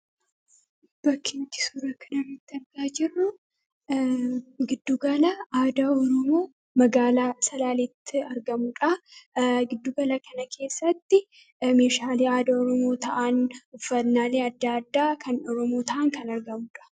bakkintti surakanamitti argaa jirru giddugala aada urumuu magaalaa salaalitti argamudha giddugala kana keessatti mishaalii aada urumuu ta'an uffatnaalii adda addaa kan dorumuu ta'an kan argamudha